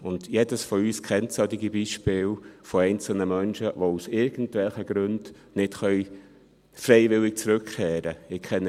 Jeder von uns kennt solche Beispiele von einzelnen Menschen, die aus irgendwelchen Gründen nicht freiwillig zurückkehren können.